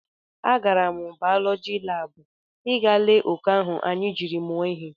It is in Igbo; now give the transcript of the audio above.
A gara m baulọji lab ị gaa lee oke ahụ anyị jiri mụọ ihe